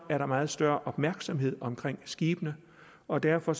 er der meget større opmærksomhed omkring skibene og derfor